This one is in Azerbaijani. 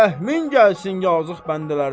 Rəhmin gəlsin yazıq bəndələrinə.